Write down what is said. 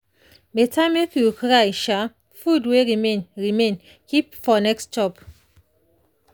better make you carry food wey remain remain keep for next chop.